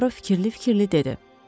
Puaro fikirli-fikirli dedi.